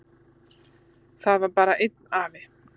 Það var bara einn afi.